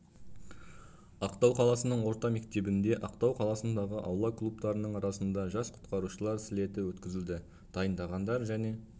ақтау қаласының орта мектебінде ақтау қаласындағы аула клубтарының арасында жас құтқарушылар слеті өткізілді дайындағандар және